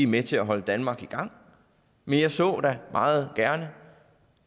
med til at holde danmark i gang men jeg så da meget gerne